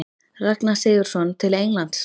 Ragnar Sigurðsson til Englands?